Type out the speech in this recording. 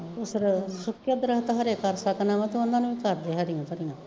ਸੁੱਕੇ ਦਰੱਖਤ ਹਰੇ ਕਰ ਸਕਨਾ ਵਾਂ ਤੂੰ ਓਨਾ ਨੂੰ ਵੀ ਕਰਦੇ ਹਰੀਆਂ ਭਰੀਆਂ